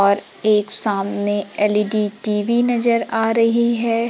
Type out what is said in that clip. और एक सामने एल_ई_डी टी_वी नजर आ रही है।